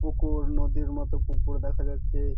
পুকুর নদীর মতো পুকুর দেখা যাচ্ছে ।